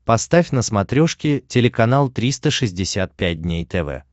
поставь на смотрешке телеканал триста шестьдесят пять дней тв